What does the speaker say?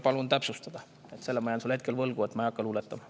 Selle ma jään sulle hetkel võlgu, ma ei hakka luuletama.